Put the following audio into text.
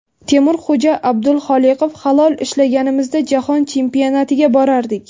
Temurxo‘ja Abduxoliqov: Halol ishlaganimizda, Jahon Chempionatiga borardik.